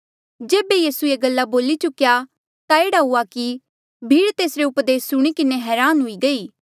जेबे यीसू ये गल्ला बोली चुक्या ता एह्ड़ा हुआ कि भीड़ तेसरे उपदेस सुणी किन्हें हरान हुई गई